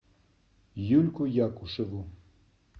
юльку якушеву